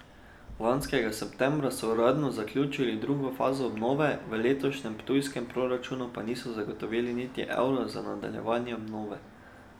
Lanskega septembra so uradno zaključili drugo fazo obnove, v letošnjem ptujskem proračunu pa niso zagotovili niti evra za nadaljevanje obnove.